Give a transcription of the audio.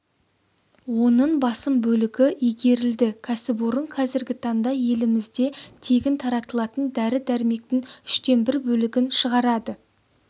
оның басым бөлігі игерілді кәсіпорын қазіргі таңда елімізде тегін таратылатын дәрі-дәрмектің үштен бір бөлігін шығарады